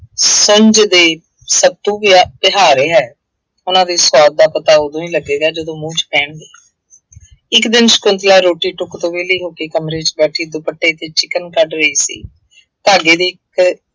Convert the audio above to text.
ਸੰਜਦੇ ਸੱਤੂ ਗਿਆ ਪਿਹਾ ਰਿਹਾ। ਉਹਨਾ ਦੇ ਸੁਆਦ ਦਾ ਪਤਾ ਉਦੋਂ ਹੀ ਲੱਗੇਗਾ, ਜਦੋਂ ਮੂੰਹ ਚ ਪੈਣਗੇ। ਇੱਕ ਦਿਨ ਸ਼ੰਕੁਤਲਾ ਰੋਟੀ-ਟੁੱਕ ਤੋਂ ਵਿਹਲੀ ਹੋ ਕੇ ਕਮਰੇ ਚ ਬੈਠੀ ਦੁਪੱਟਾ ਤੇ ਚਿਕਨ ਕੱਢ ਰਹੀ ਸੀ। ਧਾਗੇ ਦੀ ਅਹ